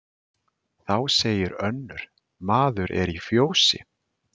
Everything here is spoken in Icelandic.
Þá segir önnur: Maður er í fjósi